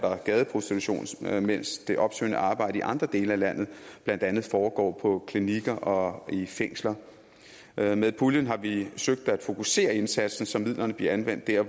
gadeprostitution mens det opsøgende arbejde i andre dele af landet blandt andet foregår på klinikker og i fængsler med med puljen har vi søgt at fokusere indsatsen så midlerne bliver anvendt dér